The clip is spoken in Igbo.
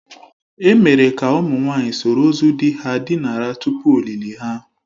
E mere ka ụmụ nwanyị soro ozu di ha dinara tupu ọlịlị ha.